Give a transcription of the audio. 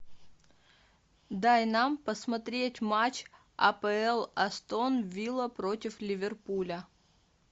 дай нам посмотреть матч апл астон вилла против ливерпуля